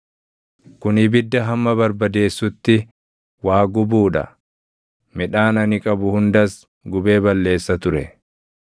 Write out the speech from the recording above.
Kun ibidda hamma Barbadeessutti waa gubuu dha; midhaan ani qabu hundas gubee balleessa ture.